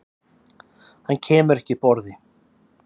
Hann kemur ekki upp orði.